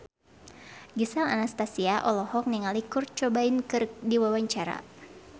Gisel Anastasia olohok ningali Kurt Cobain keur diwawancara